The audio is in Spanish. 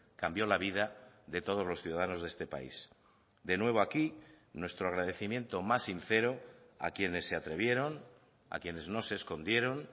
cambio la vida de todos los ciudadanos de este país de nuevo aquí nuestro agradecimiento más sincero a quienes se atrevieron a quienes no se escondieron